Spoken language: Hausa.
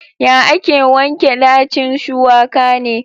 Ya ake wanke ɗacin shuwaka ne?